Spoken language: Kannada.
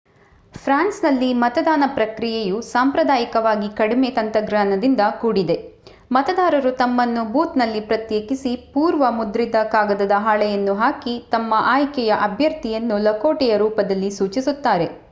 ಫ್ರಾನ್ಸ್‌ನಲ್ಲಿ ಮತದಾನ ಪ್ರಕ್ರಿಯೆಯು ಸಾಂಪ್ರದಾಯಿಕವಾಗಿ ಕಡಿಮೆ-ತಂತ್ರಜ್ಞಾನದಿಂದ ಕೂಡಿದೆ: ಮತದಾರರು ತಮ್ಮನ್ನು ಬೂತ್‌ನಲ್ಲಿ ಪ್ರತ್ಯೇಕಿಸಿ ಪೂರ್ವ-ಮುದ್ರಿತ ಕಾಗದದ ಹಾಳೆಯನ್ನು ಹಾಕಿ ತಮ್ಮ ಆಯ್ಕೆಯ ಅಭ್ಯರ್ಥಿಯನ್ನು ಲಕೋಟೆಯ ರೂಪದಲ್ಲಿ ಸೂಚಿಸುತ್ತಾರೆ